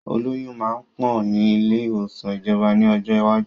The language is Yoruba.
Olóyun máa pọ̀ ni ilé ìwòsàn ìjọba ni ọjọ́ iwájú.